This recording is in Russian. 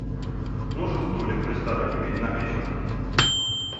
нужен столик в ресторане на вечер